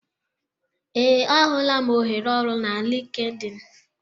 Ee, ahụla m ohere ọrụ na LinkedIn